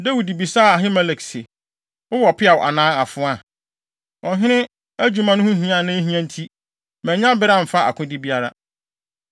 Dawid bisaa Ahimelek se, “Wowɔ peaw anaa afoa? Ɔhene adwuma no ho hia a na ehia nti, mannya bere amfa akode biara.”